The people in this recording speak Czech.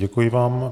Děkuji vám.